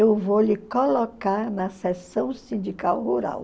Eu vou lhe colocar na sessão sindical rural.